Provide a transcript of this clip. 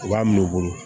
U b'a minɛ u bolo